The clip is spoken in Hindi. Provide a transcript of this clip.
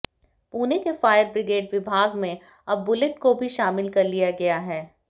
पूणे के फायर ब्रिगेड विभाग में अब बुलेट को भी शामिल कर लिया गया है